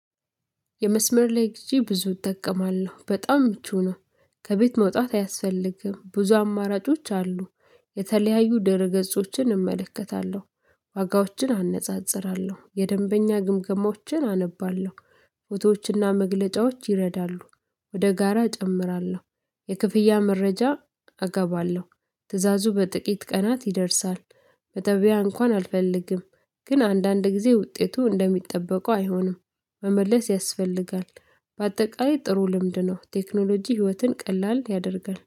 የመስመር ላይ ጊዜ ብዙ እጠቀማለሁ በጣም ምቹ ነው። ከቤት መውጣት አያስፈልግም ብዙ አማራጮች አሉ የተለያዩ ድህረ ገጾችን እመለከታለሁ። ዋጋዎችን አነጻጽራለሁ የደንበኛ ግምገማዎችን አነባለሁ። ፎቶዎችና መግለጫዎች ይረዳሉ። ወደ ጋራ እጨምራለሁ የክፍያ መረጃ አስገባለሁ ትእዛዙ በጥቂት ቀናት ይደርሳል። በገበያ እንኳን አልፈልግም። ግን አንዳንድ ጊዜ ውጤቱ እንደሚጠበቀው አይሆንም መመለስ ያስፈልጋል። በአጠቃላይ ጥሩ ልምድ ነው። ቴክኖሎጂ ህይወትን ቀላል ያደርጋል